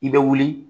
I bɛ wuli